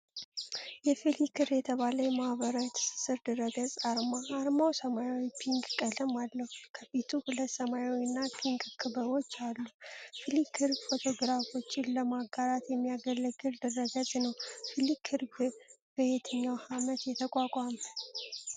የፍሊክር የተባለ የማህበራዊ ትስስር ድረገጽ አርማ። አርማው ሰማያዊና ፒንክ ቀለም አለው። ከፊቱ ሁለት ሰማያዊና ፒንክ ክበቦች አሉ። ፍሊክር ፎቶግራፎችን ለማጋራት የሚያገለግል ድረገጽ ነው። ፍሊክር በየትኛው ዓመት ተቋቋመ?